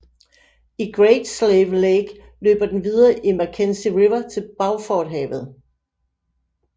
I Great Slave Lake løber den videre i Mackenzie River til Beauforthavet